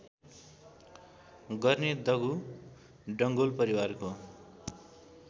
गर्ने दगु डङ्गोल परिवारको